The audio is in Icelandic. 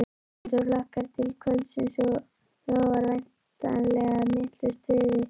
En þú hlakkar til kvöldsins og lofar væntanlega miklu stuði?